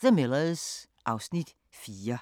The Millers (Afs. 4)